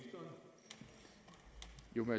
jo